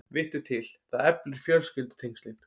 Vittu til, það eflir fjölskyldutengslin.